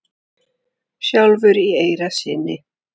sjálfur í eyra syni?